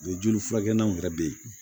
Mɛ joli furakɛ naw yɛrɛ bɛ yen